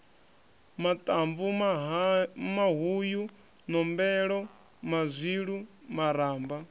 maṱamvu mahuyu nombelo mazwilu maramba